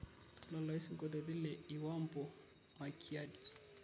tadalayu sinkoliotin le iwambo makiadi